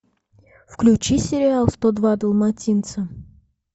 включи сериал сто два далматинца